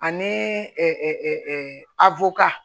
Ani